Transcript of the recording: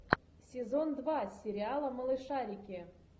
сезон два сериала малышарики